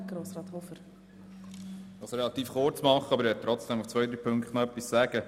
Ich kann es relativ kurz machen, doch zu einigen Punkten möchte ich noch etwas sagen.